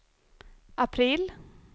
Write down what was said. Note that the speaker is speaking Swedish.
april